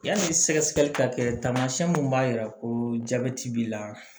Yanni sɛgɛsɛgɛli ka kɛ taamasiyɛn min b'a jira ko jabɛti b'i la